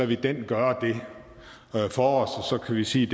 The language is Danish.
vi den gøre det for os og så kan vi sige